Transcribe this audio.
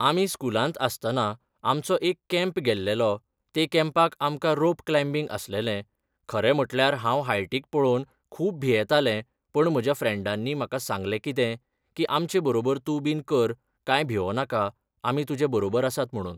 आमी स्कुलांत आसतना आमचो एक कँप गेल्लेलो ते कँपाक आमकां रोप क्लांयबींग आसलेले खरें म्हटल्यार हांव हायटीक पळोवन खूब भियेंताले पण म्हज्या फ्रेंडांनी म्हाका सांगले कितें की आमचे बरोबर तूं बीन कर काय भिवोनाका आमी तुजे बरोबर आसात म्हणून